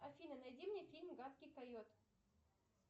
афина найди мне фильм гадкий койот